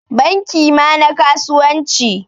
Banki ma na kasuwanci.